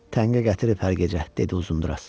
Təngə gətirib hər gecə, dedi Uzunduraz.